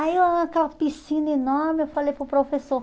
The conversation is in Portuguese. Aí, eu aquela piscina enorme, eu falei para o professor...